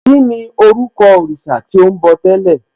Kíni orúkọ òrìṣà tí ò ń bọ̀ tẹ́lẹ̀?